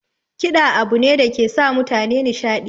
Kiɗa abu ne dake sa mutane nashiɗi